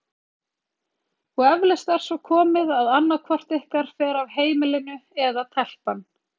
Og eflaust er svo komið að annað hvort ykkar fer af heimilinu- eða telpan.